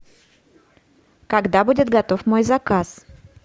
когда будет готов мой заказ